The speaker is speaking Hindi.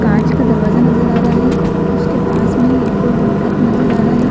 कांच का दरवाजा नज़र आ रहा है उसके पास में एक और डक नज़र आ रहा हैं।